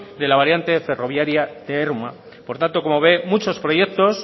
de la variante ferroviaria de ermua por tanto como ve muchos proyectos